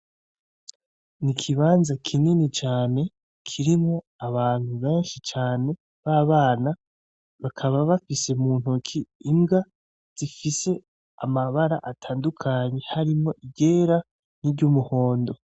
N'ikibanza kinini cane, kirimwo abantu benshi cane b'abana bakaba bafise m'untoki imbwa zifise amabara atandukanye hari mwo iryera n'iryumuhondo.